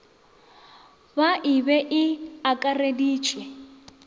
ba e be e akareditšwe